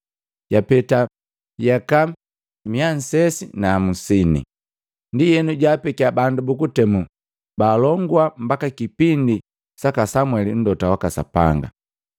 Yapeta yaka miya nne na hamusine. “Ndienu jaapekia bandu bukutemu baalongua mbaki kipindi saka Samweli Mlota waka Sapanga.